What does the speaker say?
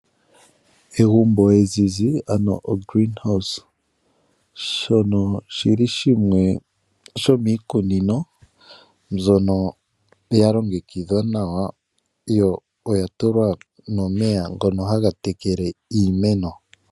Egumbo ezizi ano ogreen house shono oshili shimwe shomiikunino mbyono ya longekidhwa nawa noya tulwa omeya ngono haga tekele iimeno.